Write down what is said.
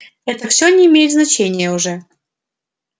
это всё не имеет значения уже